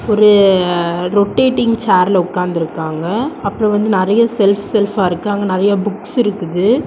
ஒரு ரொட்டேடிங் சேர்ல உக்காந்து இருக்காங்க அப்புறம் வந்து நிறைய செல்ஃப் செல்ஃபா இருக்கு அங்க நிறைய புக்ஸ் இருக்குது.